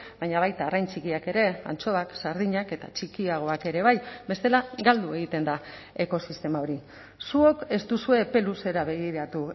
baina baita arrain txikiak ere antxoak sardinak eta txikiagoak ere bai bestela galdu egiten da ekosistema hori zuok ez duzue epe luzera begiratu